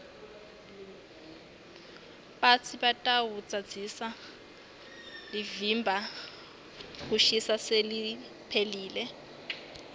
batsi lidvwadvwasi lelivimba kushisa seliphelile